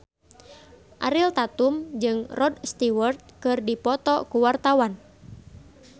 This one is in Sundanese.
Ariel Tatum jeung Rod Stewart keur dipoto ku wartawan